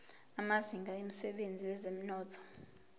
amazinga emsebenzini wezomnotho